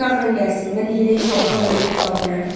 Çağırın gəlsin, mən hiylə işlədib onu bir iki sual verərəm.